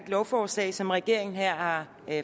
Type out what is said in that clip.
lovforslag som regeringen her har